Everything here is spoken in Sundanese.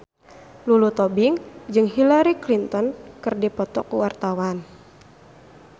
Lulu Tobing jeung Hillary Clinton keur dipoto ku wartawan